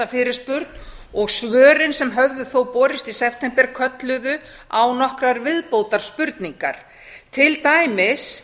fyrirspurn og svörin sem þó höfðu þó borist í september kölluðu á nokkrar viðbótar spurningar til dæmis